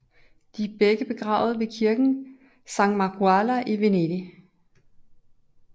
De er begge begravede ved kirken San Marcuola i Venedig